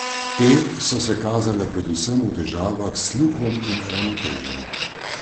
Te so se kazale predvsem v težavah s sluhom in ravnotežjem.